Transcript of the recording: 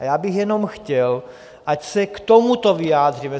A já bych jenom chtěl, ať se k tomuto vyjádříme.